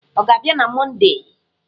Ọ ga-abịa na Mọndee?